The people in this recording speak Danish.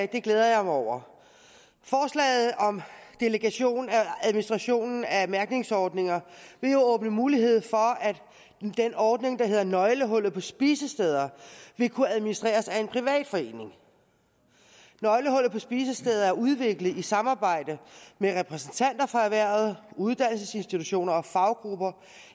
det glæder jeg mig over forslaget om delegation af administrationen af mærkningsordninger vil jo åbne mulighed for at den ordning der hedder nøglehullet på spisesteder vil kunne administreres af en privat forening nøglehullet på spisesteder er udviklet i samarbejde med repræsentanter fra erhvervet uddannelsesinstitutioner og faggrupper